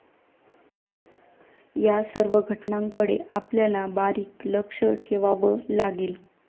या सर्व घटनांकडे आपल्याला बारीक लक्ष ठेवावं लागेल.